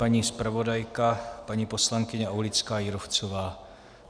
Paní zpravodajka, paní poslankyně Aulická Jírovcová.